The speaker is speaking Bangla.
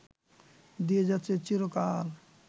দিয়ে যাচ্ছে চিরকাল